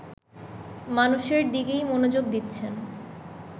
মানুষের দিকেই মনোযোগ দিচ্ছেন